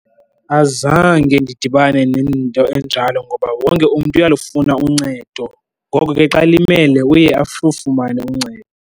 Azange ndidibane nento enjalo ngoba wonke umntu uyalufuna uncedo, ngoko ke xa elimele uye fumane uncedo.